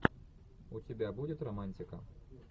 у тебя будет романтика